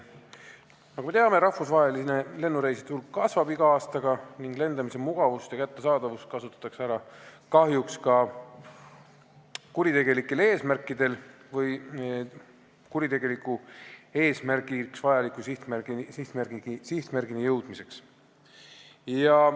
Nagu me teame, kasvab rahvusvaheliste lennureiside hulk iga aastaga ning lendamise mugavust ja kättesaadavust kasutatakse kahjuks ära ka kuritegelikel eesmärkidel või kuritegelikuks eesmärgiks vajaliku sihtmärgini jõudmiseks.